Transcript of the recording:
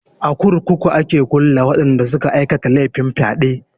A kurkuku a ke kulle waɗanda suka aikata laifin fyaɗe.